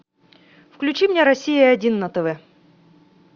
включи мне россия один на тв